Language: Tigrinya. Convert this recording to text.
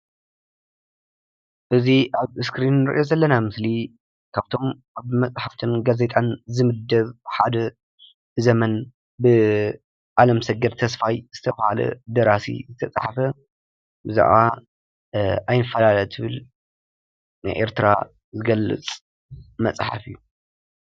እዚ ኣብ እስክሪን እንሪኦ ዘለና ምስሊ ካብቶም ኣብ መፅሓፍትን ጋዜጣን ዝምደብ ሓደ ዘመን ብኣለምሰገድ ተስፋይ ዝተብሃለ ደራሲ ዝተፅሓፈ ብዛዕባ ኣይንፋላለ ትብል ንኤርትራ ዝገልፅ መፅሓፍ እዩ።